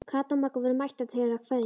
Kata og Magga voru mættar til að kveðja.